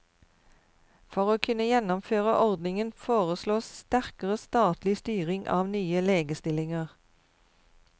For å kunne gjennomføre ordningen, foreslås sterkere statlig styring av nye legestillinger.